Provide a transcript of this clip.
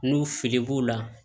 N'u fili b'u la